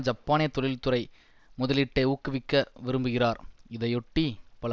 ஜப்பானிய தொழில்துறை முதலீட்டை ஊக்குவிக்க விரும்புகிறார் இதையொட்டி பல